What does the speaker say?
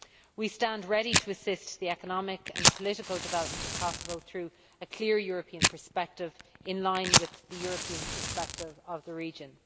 We stand ready to assist the economic and political development of Kosovo through a clear European perspective, in line with the European perspective of the region.